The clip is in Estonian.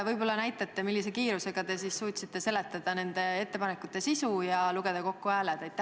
Võib-olla te näitate, millise kiirusega te suutsite seletada nende ettepanekute sisu ja lugeda hääled kokku.